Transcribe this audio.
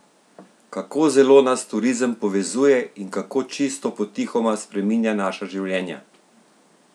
Kako zelo nas turizem povezuje in kako čisto potihoma spreminja naša življenja?